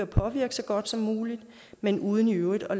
påvirke så godt som muligt men uden i øvrigt at